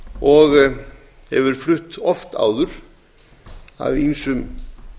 og hefur verið flutt oft áður af ýmsum